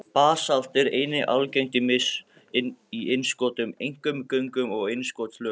Basalt er einnig algengt í innskotum, einkum göngum og innskotslögum.